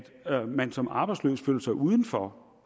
man som arbejdsløs føler sig udenfor